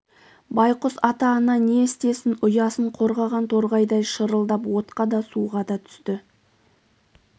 байқұс ата-ана не істесін ұясын қорғаған торғайдай шырылдап отқа да суға да түсті